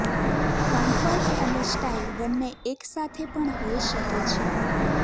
comfort અને style બંને એકસાથે પણ હોય શકે છે